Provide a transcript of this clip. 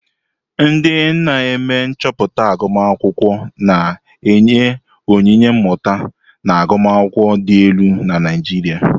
Ndị na-eme nchọpụta agụmakwụkwọ na-enye onyinye mmụta na agụmakwụkwọ dị elu na Naijiria.